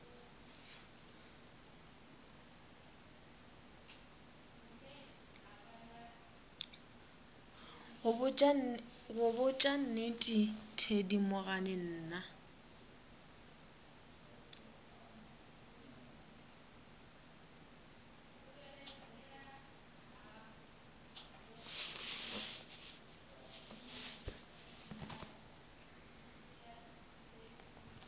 go botša nnete thedimogane nna